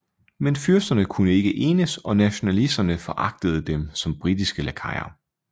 Men fyrsterne kunne ikke enes og nationalisterne foragtede dem som britiske lakajer